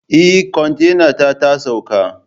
Eh kontainata tasauka